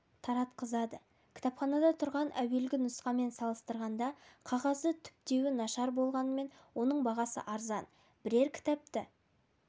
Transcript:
таратқызады кітапханада тұрған әуелгі нұсқамен салыстырғанда қағазы түптеуі нашар болғанымен мұның бағасы арзан бірер кітапты